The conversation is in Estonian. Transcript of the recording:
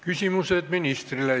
Küsimused ministrile.